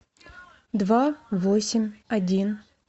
два восемь один